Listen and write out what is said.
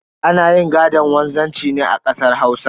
Ana yin gaɗon wanzanci ne a kasar Hausa.